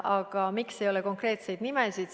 Aga miks leppes ei ole konkreetseid nimesid?